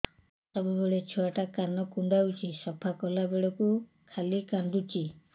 ସବୁବେଳେ ଛୁଆ ଟା କାନ କୁଣ୍ଡଉଚି ସଫା କଲା ବେଳକୁ ଖାଲି କାନ୍ଦୁଚି